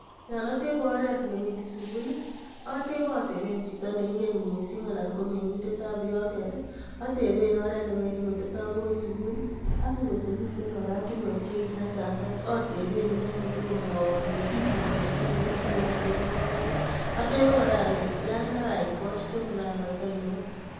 Yon otebe oret newendi sugul, otebe oteben chito neingen mising anan ko meng'indetab yotet. Oteben oret ne wendi koteto agoi sugul ago ngot komiten oratinwek che kisachasach oteben inendet tugul komwowon nekisibi ne chule bagoi sugulinotet. Atebe kora ole yon karait achute mulangoit ainon